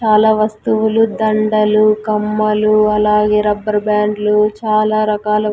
చాలా వస్తువులు దండలు కమ్మలు అలాగే రబ్బర్ బ్యాండ్లు చాలా రకాల--